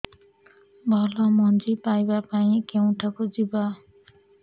ଭଲ ମଞ୍ଜି ପାଇବା ପାଇଁ କେଉଁଠାକୁ ଯିବା